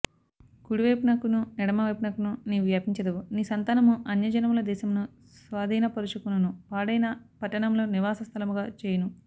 కుడివైపునకును ఎడమవైపునకును నీవు వ్యాపించెదవు నీ సంతానము అన్యజనముల దేశమును స్వాధీనపరచు కొనును పాడైన పట్టణములను నివాస స్థలములుగా చేయును